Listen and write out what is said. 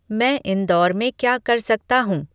मैं इंदौर में क्या कर सकता हूँ